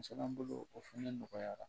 Musola bolo o fɛnɛ nɔgɔyara